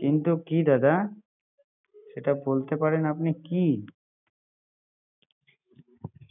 কিন্তু কি দাদা সেটা বলতে পারেন, আপনি কি?